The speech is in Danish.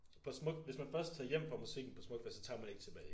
På Smuk hvis man først tager hjem fra musikken på Smuk fest så tager man ikke tilbage